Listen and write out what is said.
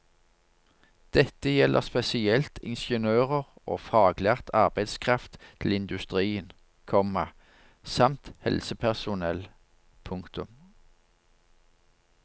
Dette gjelder spesielt ingeniører og faglært arbeidskraft til industrien, komma samt helsepersonell. punktum